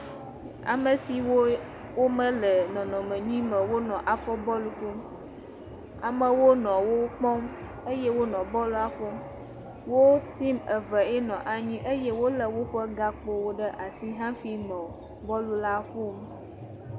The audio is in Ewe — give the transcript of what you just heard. Amesiwo me le nɔnɔme nyuie me wo le afɔ bɔlu ƒom, amewo nɔ wo kpɔ eye wo nɔ bɔlu a ƒom. Wo timu eve ye nɔ anyi eye wo le wo ƒe gãkpo wo ɖe asi ha fi nɔ bɔlu la ƒom.